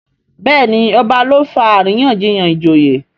Béèni ọba ló fà àríyànjiyàn ìjòyè.